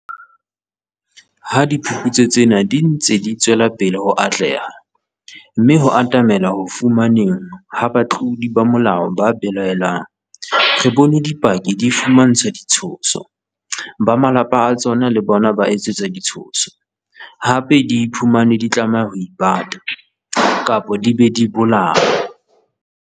Ha diphuputso tsena di ntse di tswela pele ho atleha, mme ho atamelwa ho fumaneheng ha batlodi ba molao ba belaellwang, re bone dipaki di fumantshwa ditshoso, ba malapa a tsona le bona ba etsetswa ditshoso, hape di iphumane di tlameha ho ipata, kapa di be di bolawe.